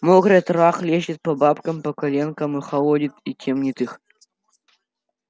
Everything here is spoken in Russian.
мокрая трава хлещет по бабкам по коленкам и холодит и темнит их